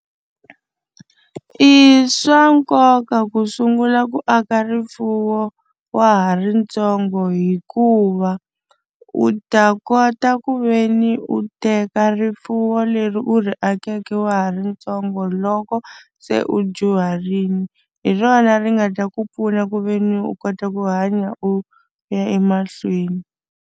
I swa nkoka ku sungula ku aka rifuwo wa ha ri ntsongo hikuva u ta kota ku ve ni u teka rifuwo leri u ri akeke wa ha ri ntsongo loko se u dyuharile hi rona ri nga ta ku pfuna ku ve ni u kota ku hanya u ya emahlweni.